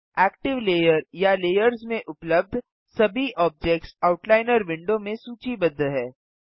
active layer या layers में उपलब्ध सभी ऑब्जेक्ट्स आउटलाइनर विंडो में सूचीबद्ध हैं